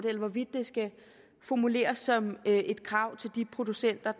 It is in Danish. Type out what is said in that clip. eller hvorvidt det skal formuleres som et krav til de producenter